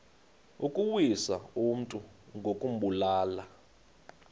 ukuwisa umntu ngokumbulala